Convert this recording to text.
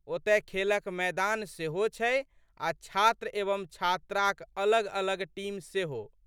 ओतए खेलक मैदान सेहो छै आ' छात्र एवं छात्राक अलगअलग टीम सेहो।